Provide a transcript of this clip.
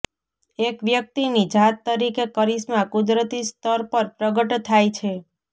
એક વ્યક્તિની જાત તરીકે કરિશ્મા કુદરતી સ્તર પર પ્રગટ થાય છે